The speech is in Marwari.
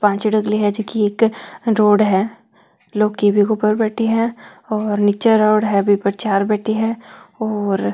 पांच चिड़कली है जकी एक रोड है लौह की बीके ऊपर बैठी है और नीचे रोड बी पर चार बैठी है और--